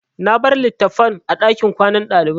Na bar litattafan a ɗakin kwanan ɗalibai.